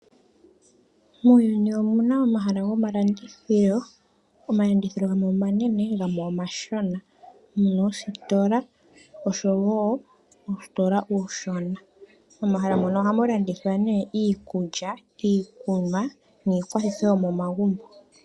Muuyuni omuna omahala gomalandithilo. Omalandithilo gamwe omanene gamwe omashona, muna oositola osho wo uusitola uushona. Momahala mono ohamu landithwa nee iikulya, iikunwa niikwathitho yomomagumbo.